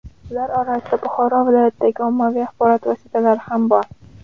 Ular orasida Buxoro viloyatidagi ommaviy axborot vositalari ham bor.